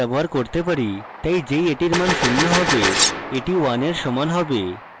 তাই যেই এটির মান শূন্য হবে এটি 1 এর সমান হবে